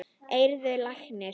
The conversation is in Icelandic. Heyrðu, læknir.